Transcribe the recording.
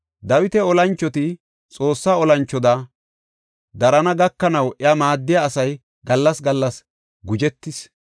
Dawita olanchoti, Xoossa olanchoda darana gakanaw iya maaddiya asay gallas gallas guzhetees.